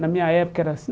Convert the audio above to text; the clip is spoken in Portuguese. Na minha época era assim.